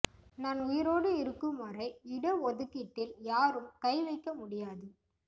நான் உயிரோடு இருக்கும்வரை இட ஒதுக்கீட்டில் யாரும் கை வைக்க முடியாது